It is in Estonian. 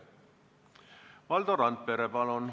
Valdo Randpere, palun!